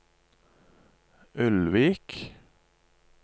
Ulvik